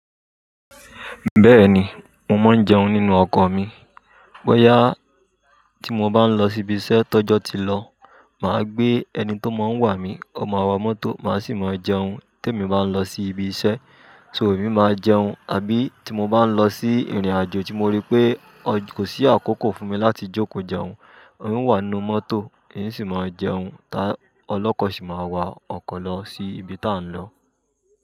Bẹ́ẹ̀ni, mo máa ń jẹun nínú ọkọ̀ mi. Bọ́yá tí mo bá ń lọ síbi iṣẹ́ tọ́jọ́ tí lọ, màá gbé ẹni tó máa wà mí, ó máa wọ mọ́tò, màá sì máa jẹun tí èmi bá ń lọ sí ibi iṣẹ́, to rí máa jẹun, àbí tí mo bá ń lọ sí ìrìnàjò tí mo rí pé kò sí àkókò fún mi láti jókòó jẹun. N o wà nínú mọ́tò, n sì máa jẹun tá. Olọ́kọ̀ sì máa wa ọkọ̀ lọ sí ibi tí à ń lọ.